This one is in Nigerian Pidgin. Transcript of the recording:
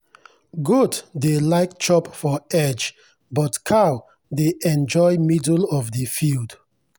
goat dey like chop for edge but cow dey enjoy middle of the field.